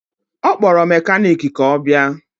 Ọ kpọrọ mekaniki ka ọ bịa